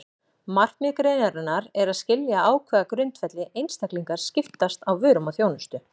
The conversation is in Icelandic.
Markmið greinarinnar er að skilja á hvaða grundvelli einstaklingar skiptast á vörum og þjónustu.